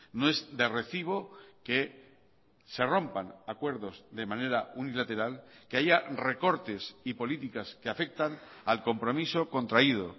no es de recibo que se rompan acuerdos de manera unilateral que haya recortes y políticas que afectan al compromiso contraído